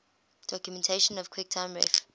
documentation quicktime ref